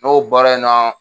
N'o baara in na